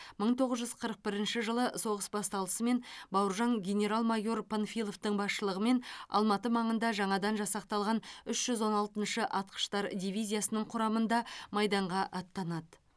мың тоғыз жүз қырық бірінші жылы соғыс басталысымен бауыржан генерал майор панфиловтың басшылығымен алматы маңында жаңадан жасақталған үш жүз он алтыншы атқыштар дивизиясының құрамында майданға аттанады